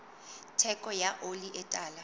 theko ya oli e tala